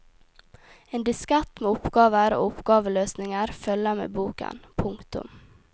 En diskett med oppgaver og oppgaveløsninger følger med boken. punktum